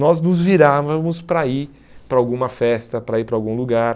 Nós nos virávamos para ir para alguma festa, para ir para algum lugar.